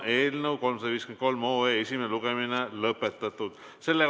Eelnõu 353 esimene lugemine on lõpetatud.